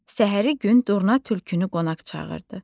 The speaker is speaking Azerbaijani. Səhəri gün Durna Tülkünü qonaq çağırdı.